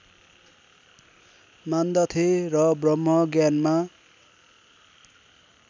मान्दथे र ब्रह्मज्ञानमा